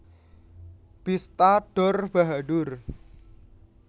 Bista Dor Bahadur